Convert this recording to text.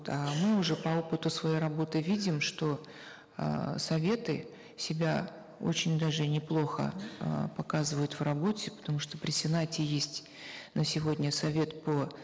а мы уже по опыту своей работы видим что эээ советы себя очень даже неплохо э показывают в работе потому что при сенате есть на сегодня совет по